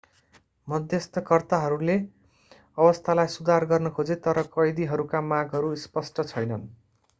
मध्यस्तकर्ताहरूले अवस्थालाई सुधार गर्न खोजे तर कैदीहरूका मागहरू स्पष्ट छैनन्